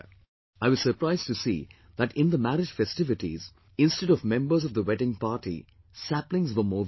I was surprised to see that in the marriage festivities, instead of members of the wedding party, saplings were more visible